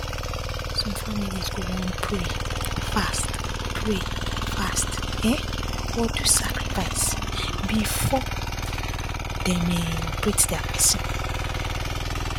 some families go wan pray fast pray fast um or do sacrifice before dem[um]operate dia person